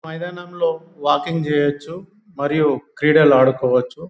మైదానంలో వాకింగ్ చేయొచ్చు మరియు క్రీడలు ఆడుకోవచ్చు .